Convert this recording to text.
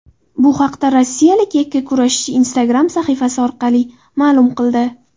Bu haqda rossiyalik yakkurashchi Instagram sahifasi orqali ma’lum qildi .